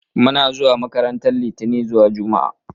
Muna zuwa makaranta litani zuwa juma'a